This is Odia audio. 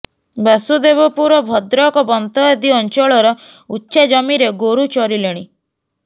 ବାସୁଦେବପୁର ଭଦ୍ରକ ବନ୍ତ ଆଦି ଅଞ୍ଚଳର ଉଚ୍ଚା ଜମିରେ ଗୋରୁ ଚରିଲେଣି